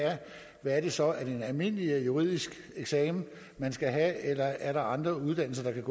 er det så have er det en almindelig juridisk eksamen man skal have eller er der andre uddannelser der kan